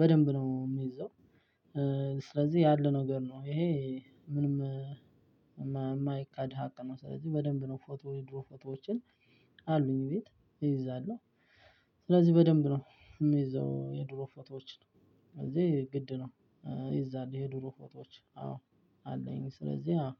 በደንብ ነው የሚይዘው። ስለዚህ ያለ ነገር ነው ይሄ ምንም ማይ ማይካድ ሃቅ ነው። ስለዚህ በድንብ ነው ፎቶ ይድሮ ፎቶዎችን። አሉኝ ግን እይዛለሁ። ሲለዚህ በደብን ነው የይዘው የድሮ ፎቶዎችን። ግድ ነው። ይዛል የዱሮ ፎቶዎች አዎ አለኝ። ስለዚህ አዎ